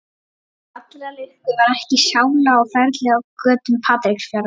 Til allrar lukku var ekki sála á ferli á götum Patreksfjarðar.